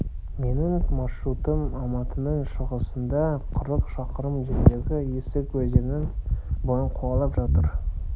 менің маршрутым алматының шығысында қырық шақырым жердегі есік өзенінің бойын қуалап отырды